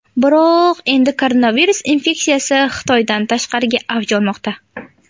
Biroq endi koronavirus infeksiyasi Xitoydan tashqarida avj olmoqda.